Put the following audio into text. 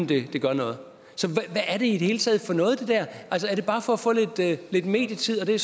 det gør noget så hvad er det i det hele taget for noget er det bare for at få lidt medietid og det